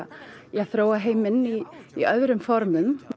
þróa heiminn í í öðrum formum